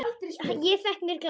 Ég fékk mér glas.